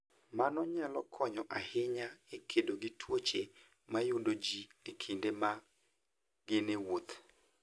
Mano nyalo konyo ahinya e kedo gi tuoche ma yudo ji e kinde ma gin e wuoth.